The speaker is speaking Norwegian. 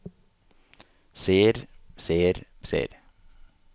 ser ser ser